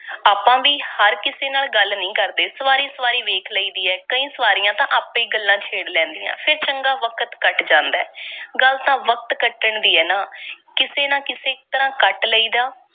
ਆਪਾਂ ਵੀ ਹਰ ਕਿਸੇ ਨਾਲ ਗੱਲ ਨਹੀਂ ਕਰਦੇ। ਸਵਾਰੀ-ਸਵਾਰੀ ਵੇਖ ਲਈਦੀ ਐ। ਕਈ ਸਵਾਰੀਆਂ ਤਾਂ ਆਪੇ ਈ ਗੱਲ ਛੇੜ ਲੈਂਦੀਆਂ ਐ, ਫੇਰ ਚੰਗਾ ਵਕਤ ਕਟ ਜਾਂਦਾ ਐ। ਗੱਲ ਤਾਂ ਵਕਤ ਕੱਟਣ ਦੀ ਐ ਨਾ, ਕਿਸੇ ਨਾ ਕਿਸੇ ਤਰ੍ਹਾਂ ਕੱਟ ਲਈ ਦਾ।